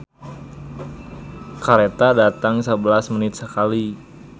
"Kareta datang sabelas menit sakali"